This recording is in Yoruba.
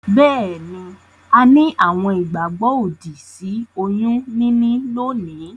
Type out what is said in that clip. Beeni, a ni àwon ìgbàgbó òdì sí oyún níní lónìí